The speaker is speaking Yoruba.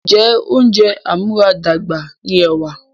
Ǹjẹ́ oúnjẹ amúaradàgbà ni ẹ̀wà?